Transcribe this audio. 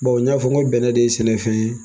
Bawo n y'a fɔ n bɛnnɛ de ye sɛnɛfɛn ye